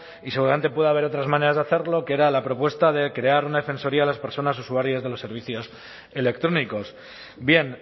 y seguramente puede haber otras maneras de hacerlo que era la propuesta de crear una defensoría de las personas usuarias de los servicios electrónicos bien